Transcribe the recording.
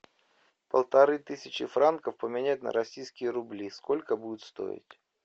полторы тысячи франков поменять на российские рубли сколько будет стоить